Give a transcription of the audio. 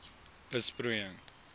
besproeiing